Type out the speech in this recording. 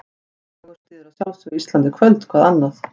Dagur styður að sjálfsögðu Ísland í kvöld, hvað annað?